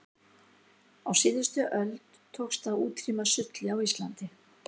á síðustu öld tókst að útrýma sulli á íslandi